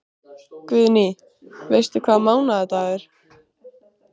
Guðný: Veistu hvaða mánaðardagur?